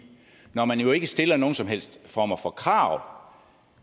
når man jo ikke stiller nogen som helst former for krav